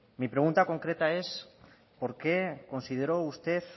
mi pregunta concreta es por qué consideró usted